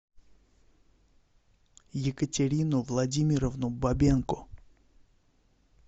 екатерину владимировну бабенко